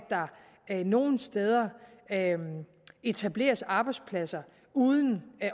der nogle steder etableres arbejdspladser uden